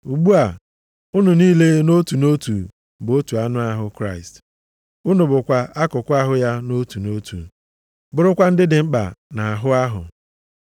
Ugbu a, unu niile nʼotu nʼotu bụ otu anụ ahụ Kraịst. Unu bụkwa akụkụ ahụ ya nʼotu nʼotu, bụrụkwa ndị dị mkpa nʼahụ ahụ.